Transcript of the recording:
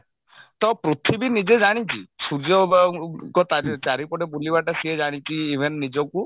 ତ ପୃଥିବୀ ନିଜେ ଜାଣିଛି ସୂର୍ଯ୍ୟଙ୍କ ଚାରିପଟେ ବୁଲିବା ସିଏ ଜାଣିଛି even ନିଜକୁ